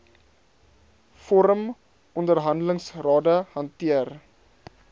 vorm onderhandelingsrade hanteer